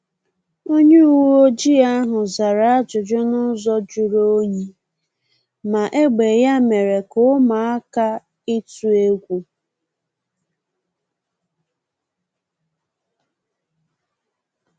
Onye uweojii ahu zara ajụjụ n’ụzọ juru onyi, ma egbe ya mere ka ụmụaka ituu egwu